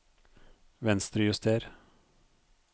Venstrejuster